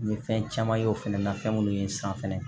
N ye fɛn caman ye o fɛnɛ na fɛn minnu ye n san fɛnɛ